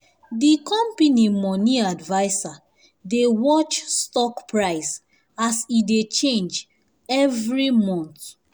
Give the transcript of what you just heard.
di company money adviser dey watch stock price as e dey change every month.